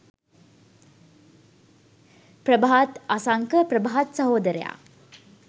ප්‍රභාත් අසංක ප්‍රභාත් සහෝදරයා